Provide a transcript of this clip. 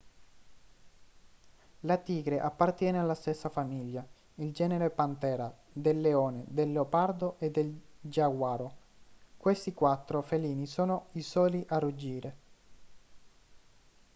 la tigre appartiene alla stessa famiglia il genere panthera del leone del leopardo e del giaguaro. questi quattro felini sono i soli a ruggire